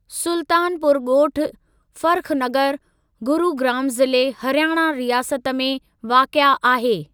सुल्तानपुर ॻोठु, फ़र्ख़ नगर, गुरुग्राम ज़िले हरियाणा रियासत में वाक़िए आहे।